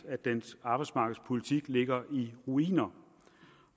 at dens arbejdsmarkedspolitik ligger i ruiner